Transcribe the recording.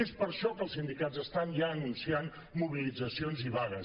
és per això que els sindicats estan ja anunciant mobilitzacions i vagues